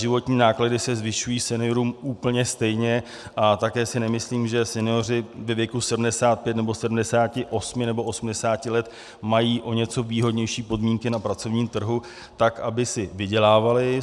Životní náklady se zvyšují seniorům úplně stejně a také si nemyslím, že senioři ve věku 75 nebo 78 nebo 80 let mají o něco výhodnější podmínky na pracovním trhu tak, aby si vydělávali.